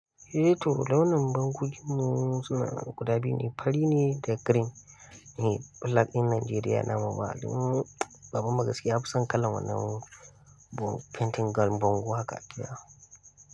Eh to launin bankokin mu sunanan guda biyu ne fari ne da green ne. Flag ɗin Najeriya namu ba. Domin babanmu gaskiya, Yafison kalan wannan painting gan bango haka.